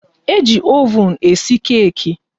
E ji oven e si keki